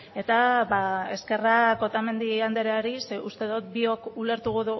eta eskerrak otamendi andreari ze uste dut biok